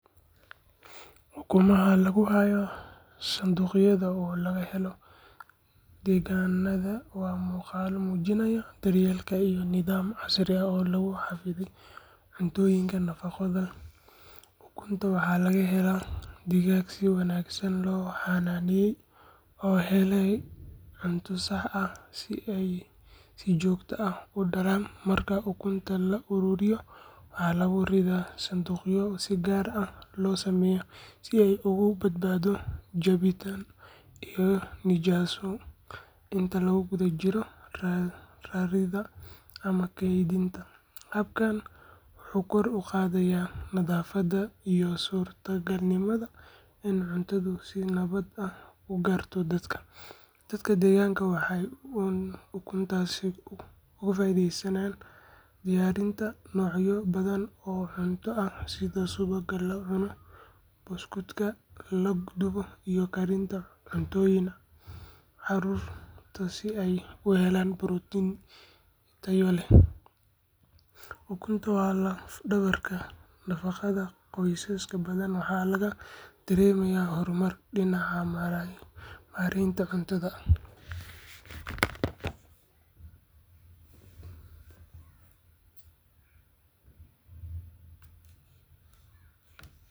Ukumaha lagu hayo sanduuqyada oo laga helo deegaannada waa muuqaallo muujinaya daryeel iyo nidaam casri ah oo lagu xafido cuntooyinka nafaqo leh. Ukuntan waxaa laga helaa digaag si wanaagsan loo xanaaneeyay oo helaya cunto sax ah si ay si joogto ah u dhalaan. Marka ukunta la ururiyo waxaa lagu ridaa sanduuqyo si gaar ah loo sameeyay si ay uga badbaado jabid iyo nijaasow intii lagu guda jiray raridda ama keydinta. Habkani wuxuu kor u qaadaa nadaafadda iyo suurtagalnimada in cuntadu si nabad ah u gaarto dadka. Dadka deegaanka waxay ukuntaasi uga faa’iideystaan diyaarinta noocyo badan oo cunto ah sida subagga la cuno, buskudka la dubo, iyo karinta cuntooyinka carruurta si ay u helaan borotiin tayo leh. Ukuntu waa laf-dhabarta nafaqada qoysas badan waxaana laga dareemayaa horumar dhinaca maaraynta cuntada ah.